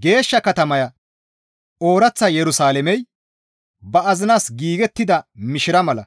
Geeshsha katamaya ooraththa Yerusalaamey ba azinas giigettida mishira mala